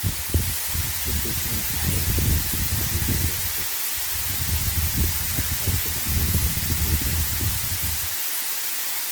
Hubi in ay nadiif joogto ah ku dhex jirto digaagga.